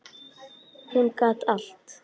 Hún gat allt.